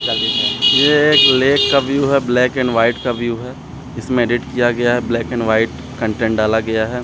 क्या दिख रहा है ये एक लेक का व्यू है ब्लैक एंड वाइट का व्यू है इसमें एडिट किया गया है इसमें कंटेंट डाला गया है।